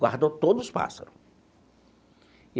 Guardou todos os pássaro.